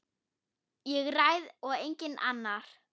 Ég ræð og enginn annar.